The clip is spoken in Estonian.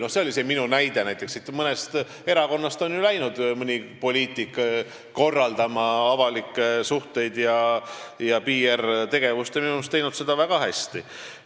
No see oli see minu näide, et mõnest erakonnast on ju läinud mõni poliitik korraldama avalikke suhteid ning on minu meelest teinud seda väga hästi.